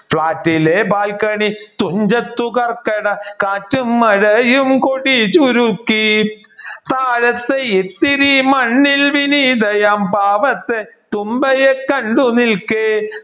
ഫ്ളാറ്റിലെ ബാൽക്കണി തുഞ്ചത്തു കർക്കട കാറ്റും മഴയും കുടി ചുരുക്കി താഴത്ത് ഇത്തിരി മണ്ണിൽ വിനീതയാം പാവത്തെ തുമ്പയെ കണ്ടു നിൽക്കെ